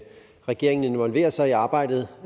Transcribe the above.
regeringen involverer sig i arbejdet